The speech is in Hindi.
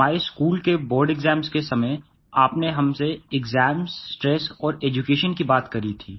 हमारे स्कूल के बोर्ड एक्साम्स के समय आपने हमसे एक्साम्स स्ट्रेस और एड्यूकेशन की बात की थी